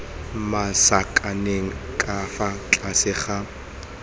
masakaneng ka fa tlase ga